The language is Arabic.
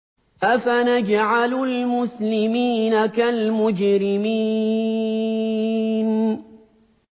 أَفَنَجْعَلُ الْمُسْلِمِينَ كَالْمُجْرِمِينَ